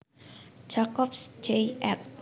Jacobs Jay ed